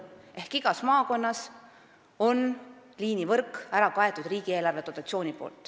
Ehk igas maakonnas on liinivõrk ära kaetud riigieelarvest tuleva dotatsiooniga.